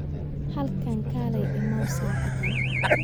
Halkan kaalay immow saacaddan